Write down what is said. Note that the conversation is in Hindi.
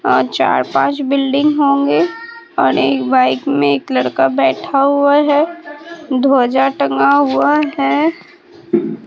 और चार पांच बिल्डिंग होंगे और एक बाइक में एक लड़का बैठा हुआ है ध्वजा टंगा हुआ है।